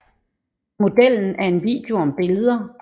Modellen er en video om billeder